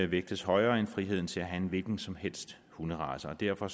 vægtes højere end friheden til at have en hvilken som helst hunderace og derfor